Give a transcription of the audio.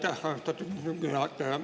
Aitäh, austatud istungi juhataja!